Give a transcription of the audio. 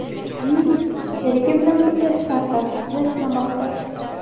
Shuningdek, sherigi bilan birga startap ustida ishlamoqda.